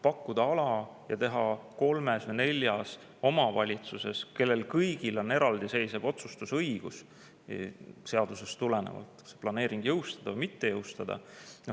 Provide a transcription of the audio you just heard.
Pakutakse ala ja siis tuleb teha kolmes või neljas omavalitsuses, kellel kõigil on seadusest tulenevalt eraldiseisev otsustusõigus, otsus planeering jõustada või mitte jõustada.